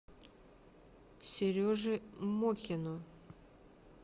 сереже мокину